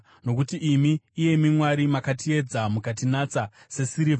Nokuti imi, iyemi Mwari, makatiedza; mukatinatsa sesirivha.